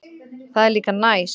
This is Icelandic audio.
Það er líka næs.